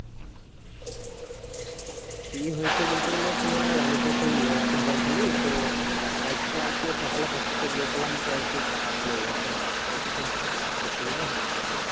কি হয়েছে বলতে গেলে তোমার আমি তো সেই আহ ফুটবল খেলি তো, একটু তো আজকে সকালে practice এ গিয়েছিলাম তো আজকে একটু পা তে লেগে গেছে। তো খুব ব্যথা করছে বুঝলে